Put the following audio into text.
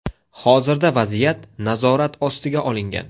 Hozirda vaziyat nazorat ostiga olingan.